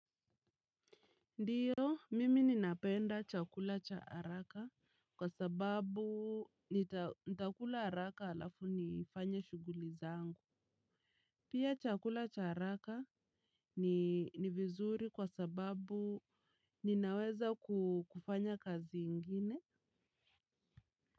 Ndiyo mimi ninapenda chakula cha haraka kwa sababu nitakula haraka alafu nifanye shuguli zangu. Pia chakula cha haraka ni vizuri kwa sababu ninaweza kufanya kazi ingine.